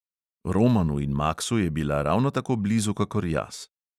"Romanu in maksu je bila ravno tako blizu kakor jaz."